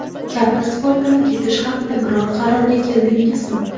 Katta sportdan ketish haqida biror qarorga keldingizmi?